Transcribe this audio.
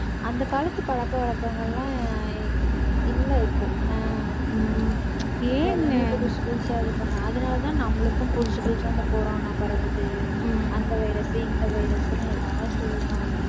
அந்த காலத்து பழக்க வழக்கங்கள் எல்லாம் இல்லை இப்போ என்ன புதுசு புதுசா இது பண்ண அதனாலேதான் நம்மளுக்கும் புதுசு புதுசா இந்த corona பரவுது அந்த வைரஸ் இந்த வைரஸ்ன்னு ஏதாவது சொல்றானுங்க